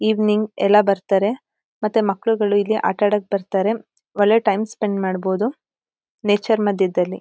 Evening ಎಲ್ಲ ಬರ್ತಾರೆ ಮತ್ತೆ ಮಕ್ಳುಗಳು ಇಲ್ಲಿ ಆಟಾಡಕ್ ಬರ್ತಾರೆ ಒಳ್ಳೆ ಟೈಮ್ ಸ್ಪೆಂಡ್ ಮಾಡ್ಬೋದು ನೇಚರ್ ಮಧ್ಯದಲ್ಲಿ.